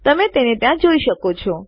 તમે તેને ત્યાં જોઈ શકો છો